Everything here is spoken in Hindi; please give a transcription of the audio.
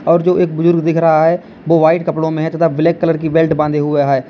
और जो एक बुजुर्ग दिख रहा है वो व्हाइट कपड़ो में है तथा ब्लैक कलर की बेल्ट बांधे हुए है।